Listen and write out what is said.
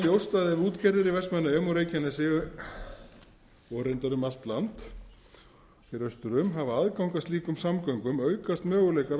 ljóst að ef útgerðir í vestmannaeyjum og reykjanesi og reyndar um allt land hér austur hafa aðgang að slíkum samgöngum aukast möguleikar